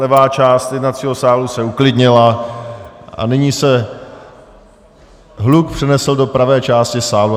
Levá část jednacího sálu se uklidnila a nyní se hluk přenesl do pravé části sálu.